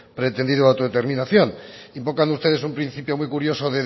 pretendido de autodeterminación invocan ustedes un principio muy curioso